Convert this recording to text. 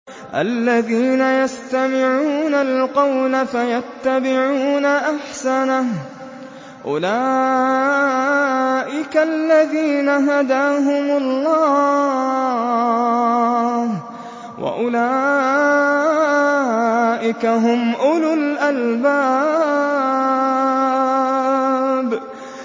الَّذِينَ يَسْتَمِعُونَ الْقَوْلَ فَيَتَّبِعُونَ أَحْسَنَهُ ۚ أُولَٰئِكَ الَّذِينَ هَدَاهُمُ اللَّهُ ۖ وَأُولَٰئِكَ هُمْ أُولُو الْأَلْبَابِ